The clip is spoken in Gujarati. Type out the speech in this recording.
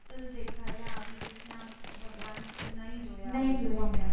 દેખાયલા ને આવી રીત ના ભગવાન